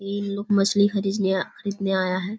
ई लोग मछली खरीदने खरीदने आया है।